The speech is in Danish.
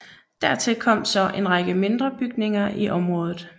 Dertil kom så en række mindre bygninger i området